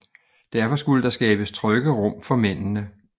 Derfor skulle der skabes trygge rum for mændende